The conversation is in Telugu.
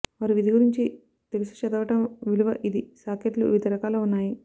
వారి విధి గురించి తెలుసు చదవడం విలువ ఇది సాకెట్లు వివిధ రకాల ఉన్నాయి